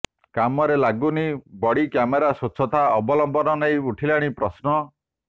କାମରେ ଲାଗୁନି body camera ସ୍ବଚ୍ଛତା ଅବଲମ୍ବନ ନେଇ ଉଠିଲାଣି ପ୍ରଶ୍ନ